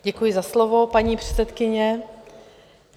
Děkuji za slovo, paní předsedkyně.